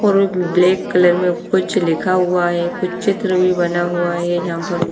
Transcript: और black colour में कुछ लिखा हुआ है कुछ चित्र भी बना हुआ है ये यहाँ पर वो--